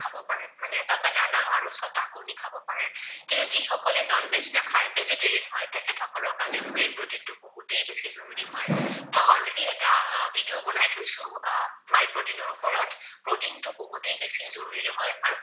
খাব পাৰে। কিন্তু যিসকলে non veg নাখায়, vegetarian হয় তেখেতসকলৰ কাৰণে protein টো বহুতেই বেছি জৰুৰী হয়, মই already এটা video বনাই থৈছো আহ my protein ৰ ওপৰত। protein টো বহুতেই বেছি জৰুৰী হয় আৰু